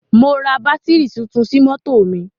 Mo ra bátírì tuntun sí mọ́tò mi.